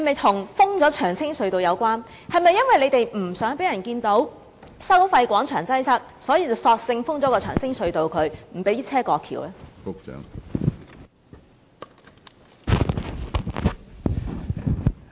當局是否因為不想讓人看到收費廣場一帶的擠塞情況，所以索性封閉長青隧道，不讓車輛過橋？